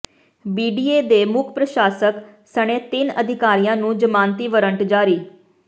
BDA ਦੇ ਮੁੱਖ ਪ੍ਰਸ਼ਾਸਕ ਸਣੇ ਤਿੰਨ ਅਧਿਕਾਰੀਆਂ ਨੂੰ ਜ਼ਮਾਨਤੀ ਵਰੰਟ ਜਾਰੀ